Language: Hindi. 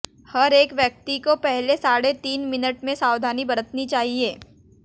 हर एक व्यक्ति को पहले साढ़े तीन मिनिट में सावधानी बरतनी चाहिए